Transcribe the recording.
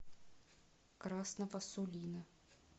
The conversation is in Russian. красного сулина